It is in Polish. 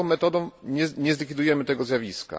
Taką metodą nie zlikwidujemy tego zjawiska.